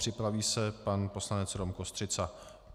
Připraví se pan poslanec Rom Kostřica.